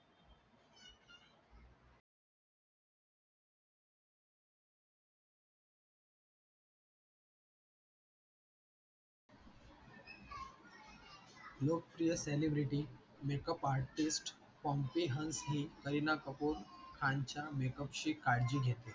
लोक प्रिय celebrity makeup artist compihsni Kareena Kapoor Khan च्या makeup ची काळजी घेते.